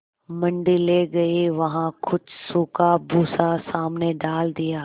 मंडी ले गये वहाँ कुछ सूखा भूसा सामने डाल दिया